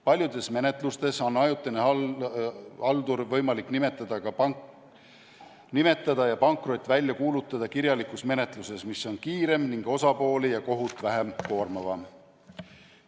Paljudes menetlustes on ajutine haldur võimalik nimetada ja pankrot välja kuulutada kirjalikus menetluses, mis on kiirem ning koormab vähem osapooli ja kohut.